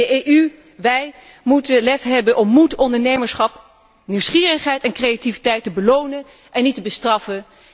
De EU moet het lef hebben om moed, ondernemerschap, nieuwsgierigheid en creativiteit te belonen en niet te bestraffen.